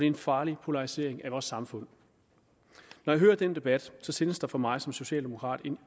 en farlig polarisering af vores samfund når jeg hører den debat tændes der for mig som socialdemokrat